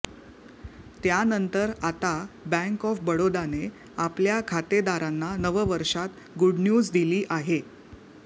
त्यांनतर आता bank of बडोदाने आपल्या खातेदारांना नववर्षात गुडन्यूज दिली आहे